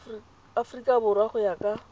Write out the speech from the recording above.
aforika borwa go ya ka